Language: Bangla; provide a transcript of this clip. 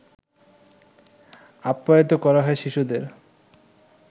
আপ্যায়িত করা হয় শিশুদের